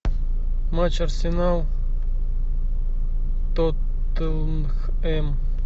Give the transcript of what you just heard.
матч арсенал тоттенхэм